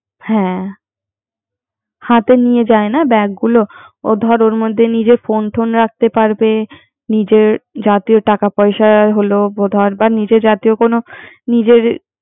হ্যা হ্যা তো নিয়ে যায় না ব্যাগ গুলো। ও ধর ওর মধ্যে নিজের ফোন টোন রাখতে পারবে। নিজের জাতীয় টাকা পয়সা, হলো